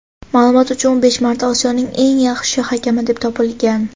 Ma’lumot uchun u besh marta Osiyoning eng yaxshi hakami deb topilgan.